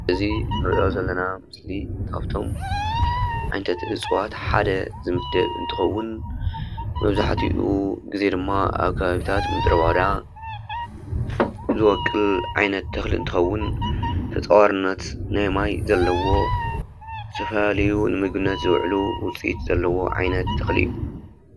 እዚ እንሪኦ ዘለና ምስሊ ካብቶም ዓይነታት እፅዋት ሓደ ዝምደብ እንትኸዉን መብዛሕቲኡ ግዜ ድማ ኣብ ከባብታት ምድረበዳ ዝቦቅል ዓይነት ተኽሊ እንትኸዉን ተፃዋርነት ናይ ማይ ዘለዎ ዝተፈላለዩ ንምግብነት ዝዉዕሉ ዉፅኢት ዘለዎ ዓይነት ተኽሊ እዩ።